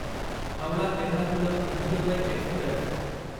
Howrah Ernakulam Antyodaya Express